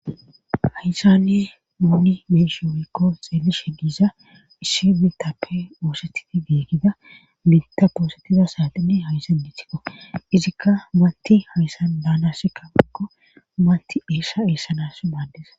Haysane mooni meeshe woykko xeelishe diiza isshi betappe oosetidi geegida binta poosettiza saaxine hayssan ditikko izikka maanti hayssan baanassikkaakko manti eessha eessanas maaddesa